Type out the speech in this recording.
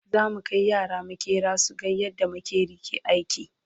zamu Kai yara maƙera suga yadda maƙeri ke aiki